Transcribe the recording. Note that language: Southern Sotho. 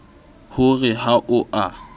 ho re ha o a